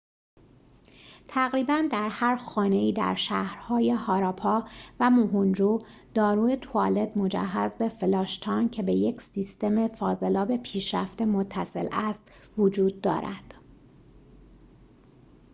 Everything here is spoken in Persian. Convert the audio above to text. تقریباً در هر خانه ای در شهرهای هاراپا و موهنجو-دارو توالت مجهز به فلاش تانک که به یک سیستم فاضلاب پیشرفته متصل است وجود دارد